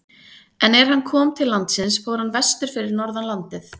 En er hann kom til landsins fór hann vestur fyrir norðan landið.